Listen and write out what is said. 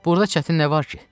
Burda çətin nə var ki?